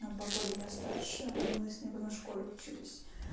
на два года меня старше мы с ней в одной школе учились